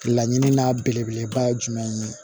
Laɲini n'a belebeleba ye jumɛn ye